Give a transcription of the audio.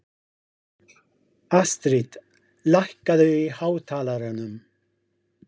Astrid, lækkaðu í hátalaranum.